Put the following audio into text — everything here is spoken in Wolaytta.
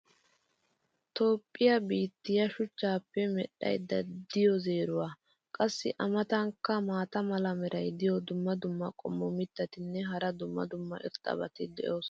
toophphiya biittiya shuchchaappe midhaydda diyo zeeruwa. qassi a matankka maata mala meray diyo dumma dumma qommo mitattinne hara dumma dumma irxxabati de'oosona.